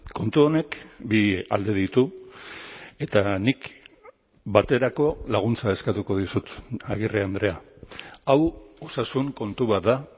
kontu honek bi alde ditu eta nik baterako laguntza eskatuko dizut agirre andrea hau osasun kontu bat da